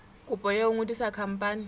kopo ya ho ngodisa khampani